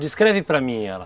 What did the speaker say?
Descreve para mim ela.